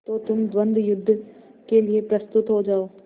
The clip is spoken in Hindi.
तो तुम द्वंद्वयुद्ध के लिए प्रस्तुत हो जाओ